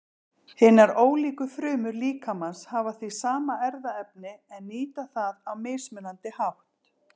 Hinar ólíku frumur líkamans hafa því sama erfðaefni en nýta það á mismunandi hátt.